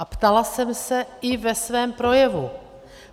A ptala jsem se i ve svém projevu.